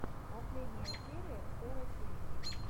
последняя серия сэра тима